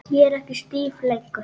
Ég er ekki stíf lengur.